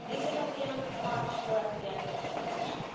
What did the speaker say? Is it at the end of March or at the end of the transition?